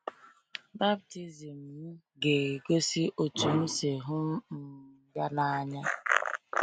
Baptizim m ga-egosi otú m si hụ um ya n’anya.